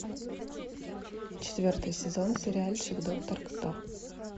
четвертый сезон сериальчик доктор кто